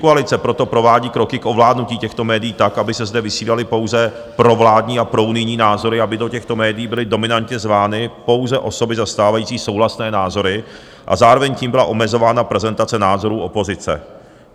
Pětikoalice proto provádí kroky k ovládnutí těchto médií tak, aby se zde vysílaly pouze provládní a prounijní názory, aby do těchto médií byly dominantně zvány pouze osoby zastávající souhlasné názory a zároveň tím byla omezována prezentace názorů opozice.